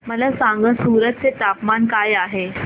मला सांगा सूरत चे तापमान काय आहे